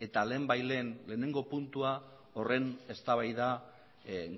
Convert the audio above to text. eta lehenbailehen lehenengo puntua horren eztabaida